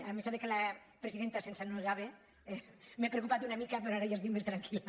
amb això que la presidenta se’ns ennuegava m’he preocupat una mica però ara ja estic més tranquil·la